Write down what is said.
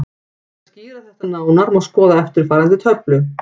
Til þess að skýra þetta nánar má skoða eftirfarandi töflu: